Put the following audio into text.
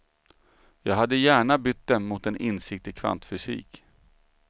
Jag hade gärna bytt dem mot en insikt i kvantfysik.